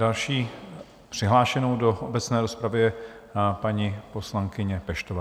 Další přihlášenou do obecné rozpravy je paní poslankyně Peštová.